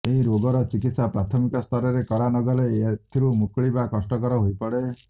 ଏହି ରୋଗର ଚିକିତ୍ସା ପ୍ରାଥମିକ ସ୍ତରରେ କରା ନଗଲେ ଏଥିରୁ ମୁକୁଳିବା କଷ୍ଟକର ହୋଇପଡ଼େ